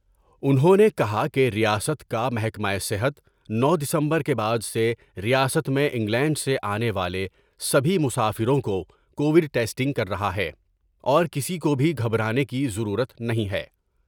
انھوں نے کہا کہ ریاست کا محکمہ صحت نو دسمبر کے بعد سے ریاست میں انگلینڈ سے آنے والے سبھی مسافروں کو کووڈ ٹیسٹنگ کر رہا ہے ، اور کسی کو بھی گھبرانے کی ضرورت نہیں ہے ۔